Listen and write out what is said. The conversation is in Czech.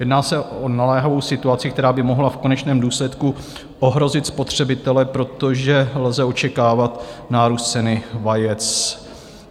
Jedná se o naléhavou situaci, která by mohla v konečném důsledku ohrozit spotřebitele, protože lze očekávat nárůst ceny vajec.